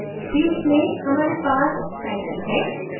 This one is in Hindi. fields में हमारे पास title है